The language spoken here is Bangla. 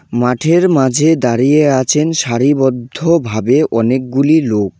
মাঠের মাঝে দাঁড়িয়ে আছেন সারিবদ্ধভাবে অনেকগুলি লোক।